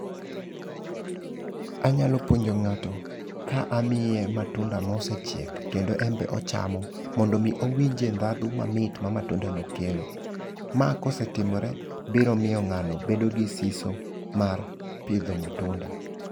Anyalo puonjo ng'ato ka amiye matunda mosechiek kendo en be ochamo mondo mi owinje dhadho mamit ma matunda no kelo. Ma kosetimore biro miyo ng'ano bedo gi siso mar pidho matunda.